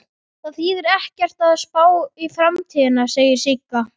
Það þýðir ekkert að spá í framtíðina, segir Sigga.